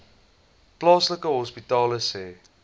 plaaslike hospitale sê